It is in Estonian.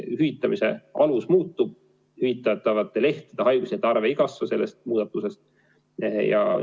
Hüvitamise alus muutub, hüvitatavate haiguslehtede arv ei kasva sellest muudatusest.